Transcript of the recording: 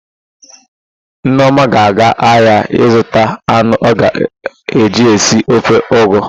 Nneọma ga-aga ahịa ịzụta anụ ọ ga-eji si ofe ụgụ.